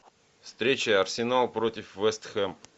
встреча арсенал против вест хэм